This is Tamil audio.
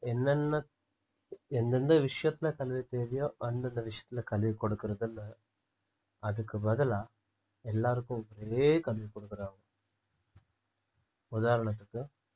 என்னென்ன எந்தெந்த விஷயத்துல கல்வி தேவையோ அந்தந்த விஷயத்துல கல்வி கொடுக்கிறது இல்லை அதுக்கு பதிலா எல்லாருக்கும் ஒரே கல்வி குடுக்குறாங்க உதாரணத்துக்கு